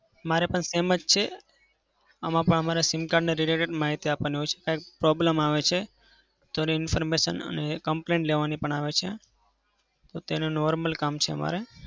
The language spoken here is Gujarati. મારે પણ same જ છે. અમારે પણ અમારા SIM card ના related માહિતી આપવાની હોય છે. કયારેક problem આવે છે તો તેની information અને complaint લેવાની પણ આવે છે. તો તેને normal કામ છે અમારે.